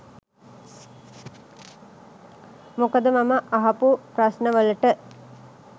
මොකද මම අහපු ප්‍රශ්නවලට